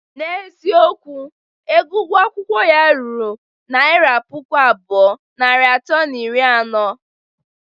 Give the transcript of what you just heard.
N'eziokwu, ego ugwo akwụkwọ ya ruru naira puku abụọ, narị atọ na iri anọ.